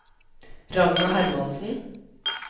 Ragna Hermansen